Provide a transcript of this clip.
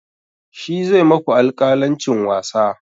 Shi zai maku alƙalancin wasa.